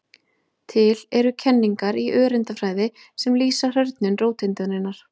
Til eru kenningar í öreindafræði sem lýsa hrörnun róteindarinnar.